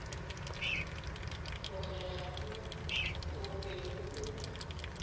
bogega mo o bego o